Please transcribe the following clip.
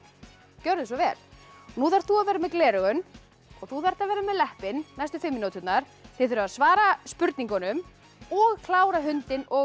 gjörðu svo vel nú þarft þú að vera með gleraugun og þú þarft að vera með næstu fimm mínúturnar þið þurfið að svara spurningunum og klára hundinn og